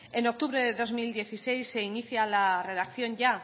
en octubre de dos mil dieciséis se inicia la redacción ya